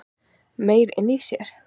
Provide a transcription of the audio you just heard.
Meyr inni í sér